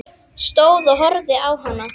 Stóð og horfði á hana.